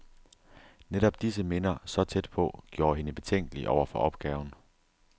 Netop disse minder, så tæt på, gjorde hende betænkelig over for opgaven.